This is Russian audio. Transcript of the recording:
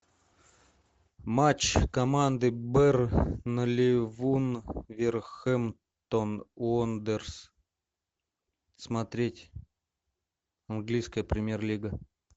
матч команды бернли вулверхэмптон уондерерс смотреть английская премьер лига